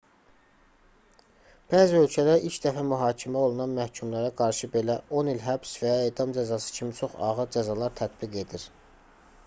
bəzi ölkələr ilk dəfə mühakimə olunan məhkumlara qarşı belə 10 il həbs və ya edam cəzası kimi çox ağır cəzalar tətbiq edir